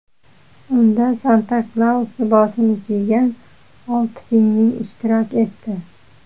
Unda Santa-Klaus libosini kiygan olti pingvin ishtirok etdi.